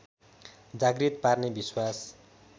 जागृत पार्ने विश्वास